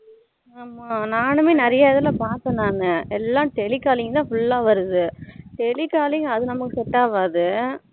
ஆமா நானூமே நிறைய இதுல பாத்தேன் நானு எல்லாம் tele calling தான் full ஆ வருது tele calling அது நம்மளுக்கு set ஆகாது